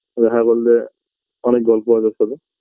দেখা করলে অনেক গল্প হবে ওর সাথে